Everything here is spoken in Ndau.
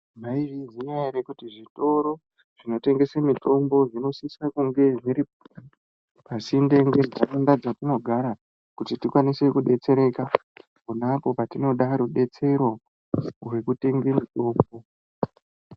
Maizviziya ere kuti zvitoro zvinotengese mitombo zvinosisa kunge zviri pasinde ngenharaunda dzatinogara, kuti tikwanise kudetsereka pona apo patinoda rubetsero rwekutenge mitombo?